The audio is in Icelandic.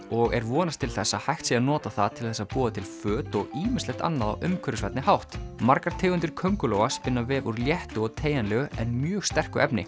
og er vonast til þess að hægt sé að nota það til þess að búa til föt og ýmislegt annað á umhverfisvænni hátt margar tegundir köngulóa spinna vef úr léttu og teygjanlegu en mjög sterku efni